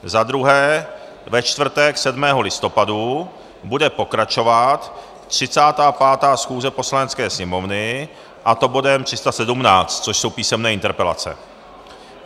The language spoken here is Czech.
Za druhé, ve čtvrtek 7. listopadu bude pokračovat 35. schůze Poslanecké sněmovny, a to bodem 317, což jsou písemné interpelace.